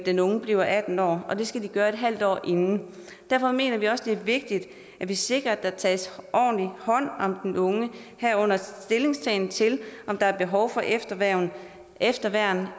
den unge bliver atten år og det skal de gøre et halvt år inden derfor mener vi også det er vigtigt at vi sikrer at der tages ordentlig hånd om den unge herunder stillingtagen til om der er behov for efterværn efterværn